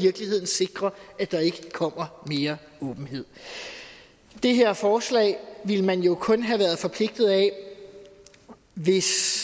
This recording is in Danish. virkeligheden sikrer at der ikke kommer mere åbenhed det her forslag ville man kun have været forpligtet af hvis